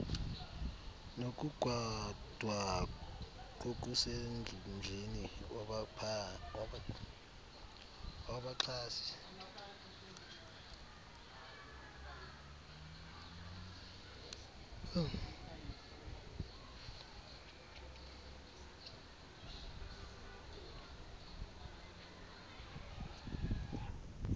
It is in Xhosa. nokugadwa kokusemdleni wabaxhasi